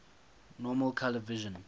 normal color vision